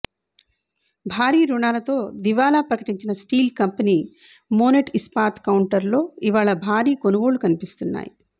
భారీ రుణాలతో దివాలా ప్రకటించిన స్టీల్ కంపెనీ మోనెట్ ఇస్పాత్ కౌంటర్లో ఇవాళ భారీ కొనుగోళ్లు కనిపిస్తున్నాయి